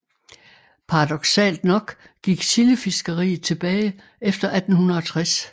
Paradoksalt nok gik sildefiskeriet tilbage efter 1860